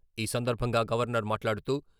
ఈ సందర్భంగా గవర్నర్ మాట్లాడుతూ...